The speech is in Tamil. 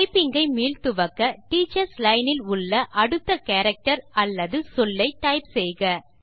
டைப்பிங் ஐ மீள் துவக்க டீச்சர்ஸ் லைன் இல் உள்ள அடுத்த கேரக்டர் அல்லது சொல்லை டைப் செய்க